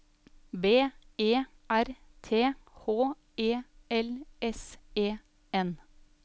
B E R T H E L S E N